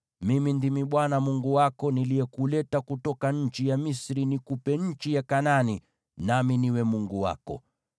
Mimi ndimi Bwana Mungu wako, niliyekuleta kutoka nchi ya Misri nikupe nchi ya Kanaani, nami niwe Mungu wako.